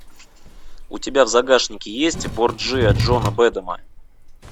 у тебя в загашнике есть борджиа джона бэдэма